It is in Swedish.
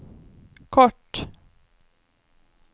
kort